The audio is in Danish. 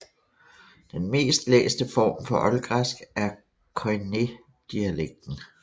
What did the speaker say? Den mest læste form for oldgræsk er koiné dialekten